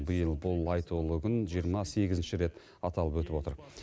биыл бұл айтулы күн жиырма сегізінші рет аталып өтіп отыр